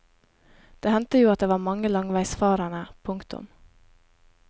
Det hendte jo at det var mange langveisfarende. punktum